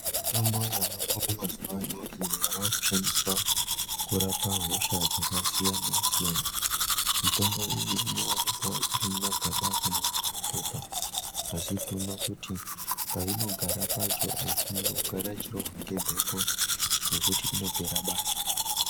Mitombo yavako mazuwa ano iyo yava kushandiswa kurapa hosha dzakasiyanasiyana. Mitombo iyi inowakwawo iri mumagaba kana mumapepa asi tinoona kuti painogara pacho aifaniri kugara ichirohwa ngemhepo nekuti inopera basa.